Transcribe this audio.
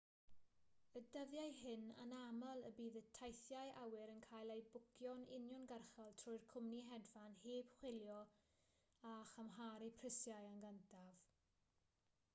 y dyddiau hyn anaml y bydd teithiau awyr yn cael eu bwcio'n uniongyrchol trwy'r cwmni hedfan heb chwilio a chymharu prisiau yn gyntaf